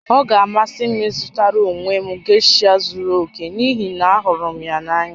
Ọ ga-amasị m ịzụtara onwe m gesha zuru oke n'ihi na ahụrụ m ya n'anya